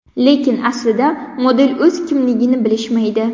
Lekin aslida model o‘zi kimligini bilishmaydi.